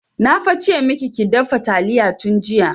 Na fa ce maki ki dafa taliya tun jiya!